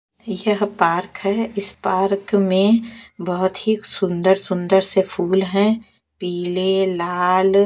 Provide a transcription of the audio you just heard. यह पार्क है इस पार्क में बहुत ही सुंदर-सुंदर से फूल हैं पीले लाल--